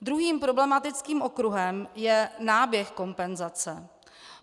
Druhým problematickým okruhem je náběh kompenzace.